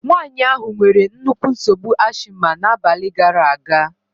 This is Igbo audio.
Nwaanyị ahụ nwere nnukwu nsogbu ashima n'abalị gaara aga.